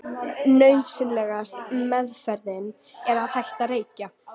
nauðsynlegasta „meðferðin“ er að hætta að reykja